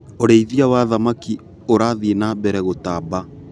ũrĩithia wa thamaki ũrathi na mbere gũtamba.